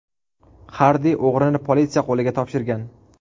Xardi o‘g‘rini politsiya qo‘liga topshirgan.